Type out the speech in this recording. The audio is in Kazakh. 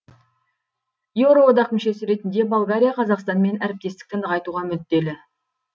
еуроодақ мүшесі ретінде болгария қазақстанмен әріптестікті нығайтуға мүдделі